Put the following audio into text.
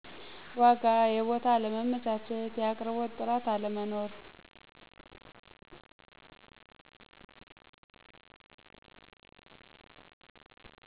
ዎጋ የቡታ አለመመቸት ያቅርቦት ጥርት አለመኖር።